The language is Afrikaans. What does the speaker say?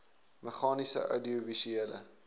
meganies oudiovisuele